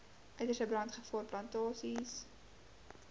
uiterste brandgevaar plantasies